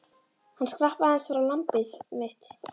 Hann skrapp aðeins frá, lambið mitt.